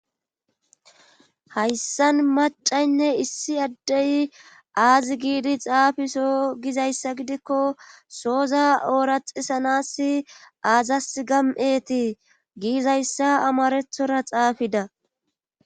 Hayssan macaynne issi addey aazi giidi xaafiso gizayssa gidikko sooza ooraxisanas aazas gam7etii giizayssa amarethora xaafida.